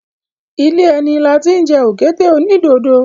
Ilé ẹni la tí ń jẹ òkété onídodo.